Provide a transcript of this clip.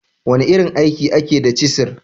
wane irin aiki ake da cisir?